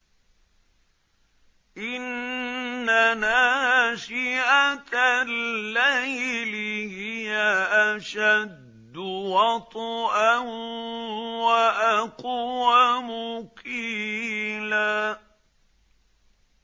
إِنَّ نَاشِئَةَ اللَّيْلِ هِيَ أَشَدُّ وَطْئًا وَأَقْوَمُ قِيلًا